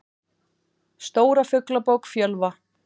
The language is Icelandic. Stóra Fuglabók Fjölva.